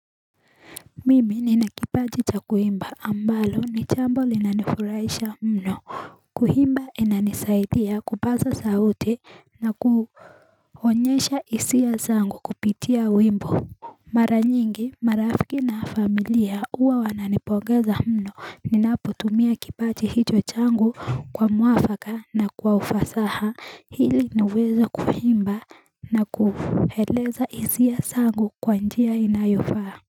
Mimi ninakipaati chakuimba ambalo ni chambo linanifuraisha mno kuhimba inanisaidia kupaza saute na kuhonyesha isia sangu kupitia wimbo Mara nyingi marafiki na familia uwa wananipogeza mno ninaputumia kipaati hito changu kwa muafaka na kwa ufasaha hili niwezo kuhimba na kuheleza isia sangu kwa njia inayofaa.